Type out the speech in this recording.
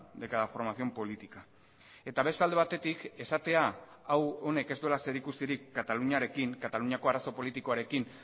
de cada formación política eta beste alde batetik esatea hau honek ez duela zerikusirik kataluniarekin kataluniako arazo politikoarekin